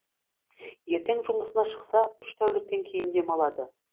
ертең жұмысына шықса үш тәуліктен кейін демалады